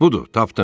Budur, tapdım.